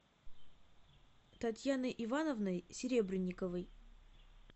татьяной ивановной серебренниковой